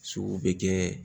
Suguw be kɛ